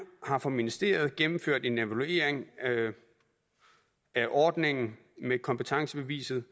har for ministeriet gennemført en evaluering af ordningen med kompetencebeviset